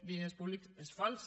diners públics és fals